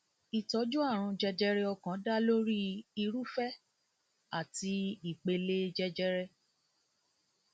ìtọjú àrùn jẹjẹrẹ ọkàn dá lórí irúfẹ àti ìpele jẹjẹrẹ